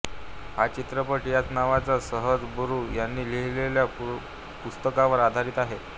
हा चित्रपट याच नावाच्या संजय बारु यांनी लिहिलेल्या पुस्तकावर आधारित आहे